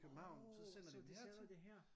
Åh så de sender det her